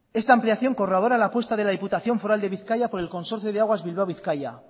esta ampliación corrobora la apuesta de la diputación foral de bizkaia por el consorcio de aguas bilbao bizkaia